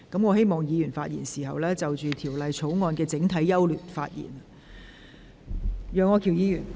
我請議員針對《條例草案》的整體優劣發言。